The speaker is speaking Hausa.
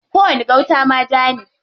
Kowani gauta ma ja ne.